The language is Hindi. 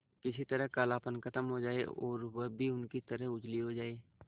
किसी तरह कालापन खत्म हो जाए और वह भी उनकी तरह उजली हो जाय